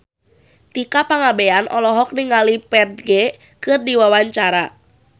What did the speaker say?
Tika Pangabean olohok ningali Ferdge keur diwawancara